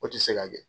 O tɛ se ka kɛ